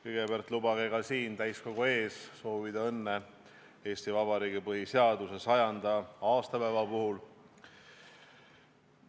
Kõigepealt lubage mul ka siin, täiskogu ees soovida õnne Eesti Vabariigi põhiseaduse 100. aastapäeva puhul!